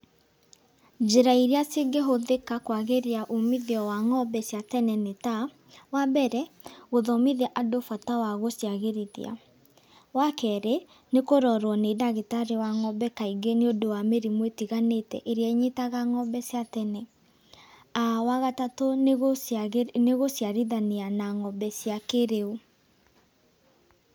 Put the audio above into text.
Njĩra iria cingĩhũthĩka kwagĩria umithio wa ngombe cia tene nĩ ta, wambere, gũthomithia andũ bata wa gũciagĩrithia. Wakerĩ nĩ kũrorwo nĩ ndagĩtarĩ wa ngombe kaingĩ nĩũndũ wa mĩrimũ ĩtiganĩte, ĩrĩa ĩnyitaga ngombe cia tene. Wagatatũ nĩ gũciarithania na ngombe cia kĩrĩu.